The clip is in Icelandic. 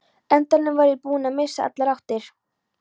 endanum var ég búinn að missa allar áttir.